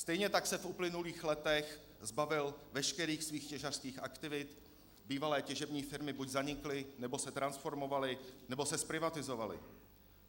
Stejně tak se v uplynulých letech zbavil veškerých svých těžařských aktivit, bývalé těžební firmy buď zanikly, nebo se transformovaly, nebo se zprivatizovaly.